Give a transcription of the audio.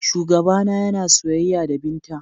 Shugabana yana soyayya da Binta.